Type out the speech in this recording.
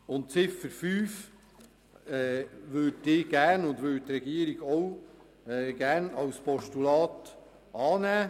Ziffer 5 würden ich und die Regierung gerne als Postulat annehmen.